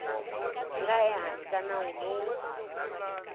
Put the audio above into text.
nga ehansi ka nawu lowu